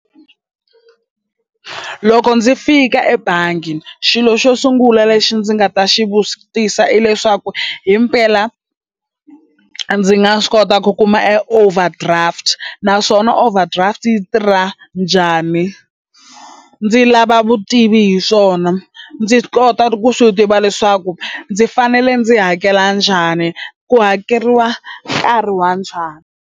Loko ndzi fika ebangi xilo xo sungula lexi ndzi nga ta xi vutisa i leswaku himpela ndzi nga swi kota ku kuma e overdraft na overdraft yi tirha njhani ndzi lava vutivi hi swona ndzi kota ku swi tiva leswaku ndzi fanele ndzi hakela njhani ku hakeriwa nkarhi wa njhani.